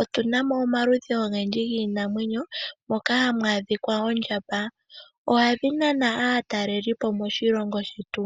otuna mo omaludhi ogendji giinamwenyo, moka hamu adhika oondjamba, ohadhi nana aatalelipo moshilongo shetu.